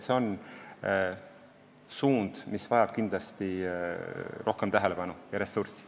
See on suund, mis vajab kindlasti rohkem tähelepanu ja ressurssi.